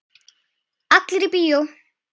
Allir í bíó!